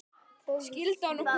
Skildu hann og Gugga?